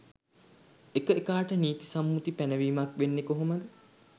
එක එකාට නීති සම්මුති පැනවීමක් වෙන්නේ කොහොමද?